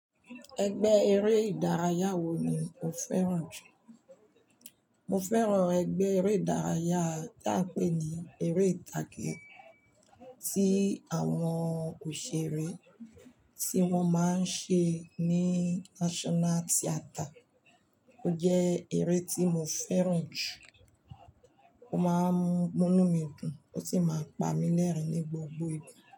Ẹgbẹ́ eré ìdárayá wo ni o fẹ́ràn jù? Mo fẹ́ràn ẹgbẹ́ eré ìdárayá tí a ń pè ní eré ìtàgé tí àwọn òṣèré tí wọ́n máa ń ṣe ní National Theatre. Ó jẹ́ eré tí mo fẹ́ràn jù, ó máa ń mú inu mí dùn ó sì máa ń pa mí lẹ́rìn-ín ní gbogbo ìgbà.